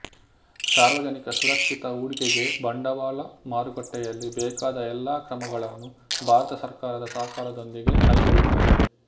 ಸಾರ್ವಜನಿಕರ ಸುರಕ್ಷಿತ ಹೂಡಿಕೆಗೆ ಬಂಡವಾಳ ಮಾರುಕಟ್ಟೆಯಲ್ಲಿ ಬೇಕಾದ ಎಲ್ಲಾ ಕ್ರಮಗಳನ್ನು ಭಾರತ ಸರ್ಕಾರದ ಸಹಕಾರದೊಂದಿಗೆ ಕೈಗೊಳ್ಳುತ್ತದೆ